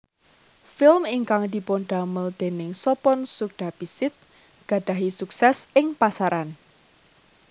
Film ingkang dipundamel déning Sopon Sukdapisit gadhahi sukses ing pasaran